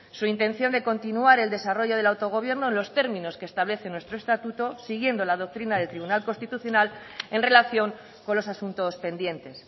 su intención de continuar el desarrollo del autogobierno en los términos que establece nuestro estatuto siguiendo la doctrina del tribunal constitucional en relación con los asuntos pendientes